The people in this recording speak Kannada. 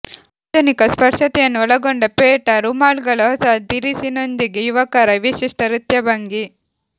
ಆಧುನಿಕ ಸ್ಪರ್ಶತೆಯನ್ನು ಒಳಗೊಂಡ ಪೇಟಾ ರುಮಾಲುಗಳ ಹೊಸ ದಿರಿಸಿನೊಂದಿಗೆ ಯುವಕರ ವಿಶಿಷ್ಟ ನೃತ್ಯ ಭಂಗಿ